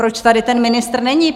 Proč tady ten ministr není?